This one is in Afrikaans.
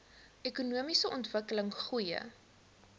ekonomiese ontwikkeling goeie